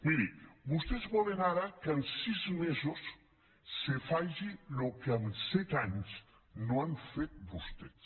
mirin vostès volen ara que en sis mesos se faci el que amb set anys no han fet vostès